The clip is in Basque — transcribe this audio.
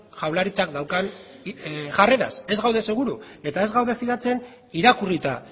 jaurlaritzak daukan jarreraz ez gaude seguru eta ez gaude fidatzen irakurrita